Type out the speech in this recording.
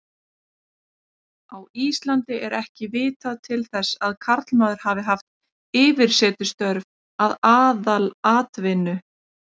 Á Íslandi er ekki vitað til þess að karlmaður hafi haft yfirsetustörf að aðalatvinnu.